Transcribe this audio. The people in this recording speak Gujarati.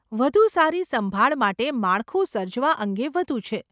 વધુ સારી સંભાળ માટે માળખું સર્જવા અંગે વધુ છે.